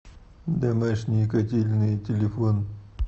домашние котельные телефон